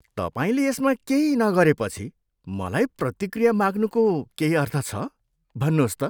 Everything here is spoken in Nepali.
तपाईँले यसमा केही नगरेपछि मलाई प्रतिक्रिया माग्नुको केही अर्थ छ? भन्नुहोस् त?